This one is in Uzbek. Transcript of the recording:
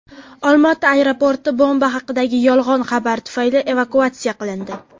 Olmaota aeroporti bomba haqidagi yolg‘on xabar tufayli evakuatsiya qilindi.